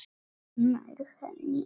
Nær henni aftur.